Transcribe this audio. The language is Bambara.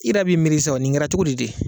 I yɛrɛ b'i miiri sa o nin kɛra cogodi de.